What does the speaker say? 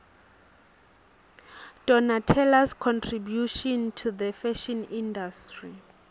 donnatellas contribution to the fashion industry